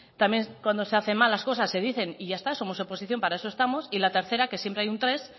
también cuando se hacen mal las cosas se dicen y ya está somos oposición para eso estamos y la tercera que siempre hay un tres